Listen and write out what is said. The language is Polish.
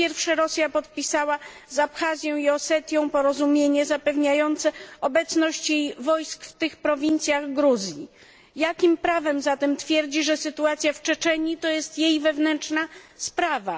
Po pierwsze, Rosja podpisała z Abchazją i Osetią porozumienie zapewniające obecność jej wojsk w tych prowincjach Gruzji. Jakim prawem zatem twierdzi, że sytuacja w Czeczenii to jest jej wewnętrzna sprawa?